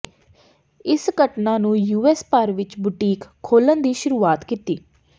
ਇਸ ਘਟਨਾ ਨੇ ਯੂਐਸ ਭਰ ਵਿਚ ਬੁਟੀਕ ਖੋਲ੍ਹਣ ਦੀ ਸ਼ੁਰੂਆਤ ਕੀਤੀ